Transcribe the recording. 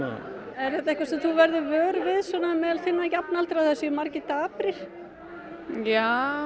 er þetta eitthvað sem þú verður vör við meðal þinna jafnaldra að það séu margir daprir já